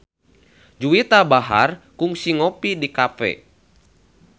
Juwita Bahar kungsi ngopi di cafe